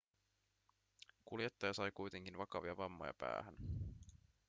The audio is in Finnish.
kuljettaja sai kuitenkin vakavia vammoja päähän